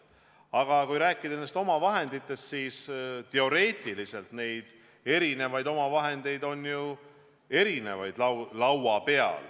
Aga kui rääkida omavahenditest, siis teoreetiliselt on neid laua peal ju erinevaid.